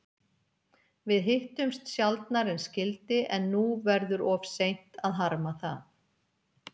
Við hittumst sjaldnar en skyldi, en nú verður of seint að harma það.